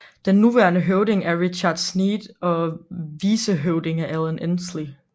Den nuværende høvding er Richard Sneed og vicehøvding er Alan Ensley